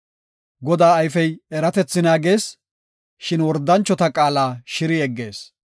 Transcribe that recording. Godaa ayfey eratethi naagees; shin wordanchota qaala shiri yeggees.